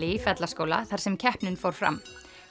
í Fellaskóla þar sem keppnin fór fram